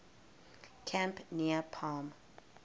camp near palm